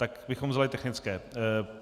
Tak bychom vzali technické.